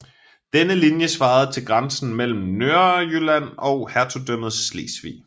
Denne linje svarede til grænsen mellem Nørrejylland og hertugdømmet Slesvig